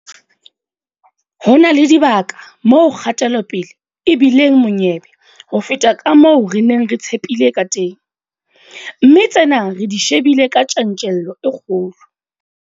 Ho na le dibaka moo kgatelopele e bi leng monyebe ho feta ka moo re neng re tshepile kateng, mme tsena re di shebile ka tjantjello e kgolo.